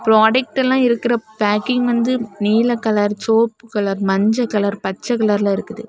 Product எல்லாம் இருக்கிற packing வந்து நீல கலர் சோப்பு கலர் மஞ்சள் கலர் பச்சை கலர்ல இருக்குது.